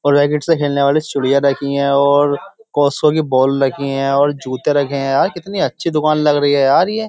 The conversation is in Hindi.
और रैकेट से खेलने वाली चूड़िया रखी है और कॉस्को की बाॅल रखी हैं जूते रखे हैं यार। कितनी अच्छी दुकान लग रही है यार ये।